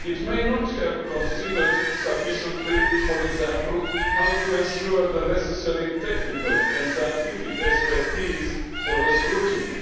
It may not have considered sufficiently, for example, how to ensure the necessary technical and scientific expertise for the scrutiny,